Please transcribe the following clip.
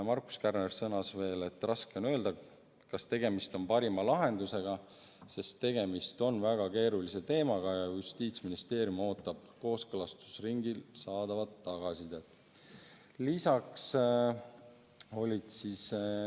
Markus Kärner sõnas veel, et raske on öelda, kas tegemist on parima lahendusega, sest tegemist on väga keerulise teemaga, ja Justiitsministeerium ootab kooskõlastusringilt saadavat tagasisidet.